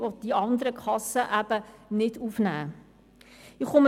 Es werden auch die aufgenommen, welche von anderen Kassen nicht aufgenommen werden.